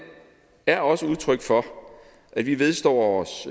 er også et udtryk for at vi vedstår os